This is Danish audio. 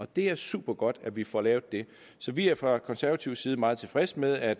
det er supergodt at vi får lavet det så vi er fra konservativ side meget tilfredse med at